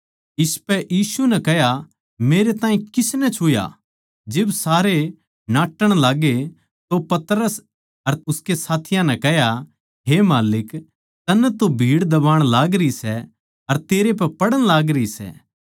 इसपै यीशु नै कह्या मेरैताहीं किसनै छुया जिब सारे नाट्टण लाग्गे तो पतरस अर उसके साथियाँ नै कह्या हे माल्लिक तन्नै तो भीड़ दबाण लागरी सै अर तेरै पै पड़ण लागरी सै